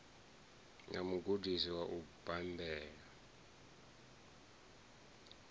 na mugudisi wa u bambela